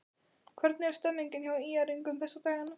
Hvernig er stemningin hjá ÍR-ingum þessa dagana?